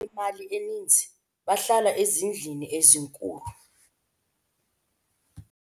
abantu abanemali eninzi bahlala ezindlwini ezinkulu